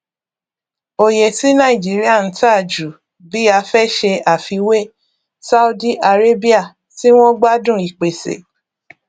oye tí nàìjíríà n ta jù bí a fẹ ṣe àfiwé saudi arabia tí wọn gbádùn ìpèsè